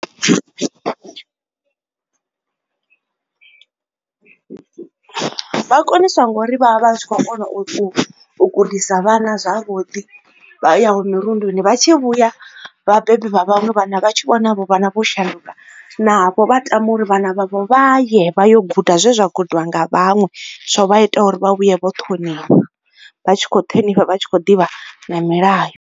Vha koniswa nga uri vha vha vha tshi kho u u gudisa vhana zwavhuḓi, vha yaho mirunduni. Vha tshi vhuya vhabebi vha vhaṅwe vhana vha tshi vhona havho vhana vho shanduka, navho vha tama uri vhana vhavho vha ye vha yo guda zwe zwa gudiwa nga vhaṅwe zwo vha itaho uri vha vhuye vho ṱhonifha, vha tshi kho u ṱhonifha vha tshi kho u ḓivha na milayo.